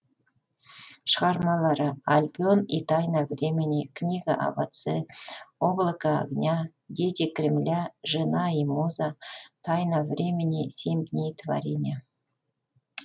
шығармалары альбион и тайна времени книга об отце облако огня дети кремля жена и муза тайна времени семь дней творения